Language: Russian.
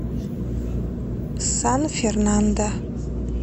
сан фернандо